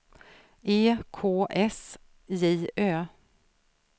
E K S J Ö